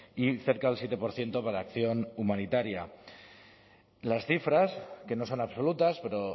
y cerca del siete por ciento para acción humanitaria las cifras que no son absolutas pero